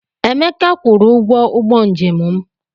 Emeka kwụrụ ụgwọ ụgbọ njem m.